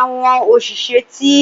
Àwọn òṣìṣẹ́ tí